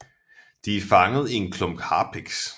De er fanget i en klump harpiks